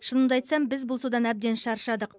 шынымды айтсам біз бұл судан әбден шаршадық